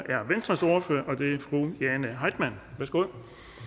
er venstres ordfører fru jane heitmann værsgo